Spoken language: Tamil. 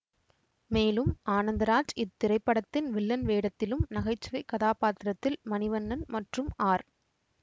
மேலும் ஆனந்தராஜ் இத்திரைப்படத்தின் வில்லன் வேடத்திலும் நகைச்சுவை கதாபாத்திரத்தில் மணிவண்ணன் மற்றும் ஆர்